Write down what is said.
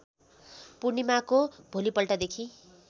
पूर्णिमाको भोलिपल्टदेखि